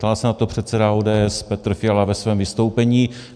Ptal se na to předseda ODS Petr Fiala ve svém vystoupení.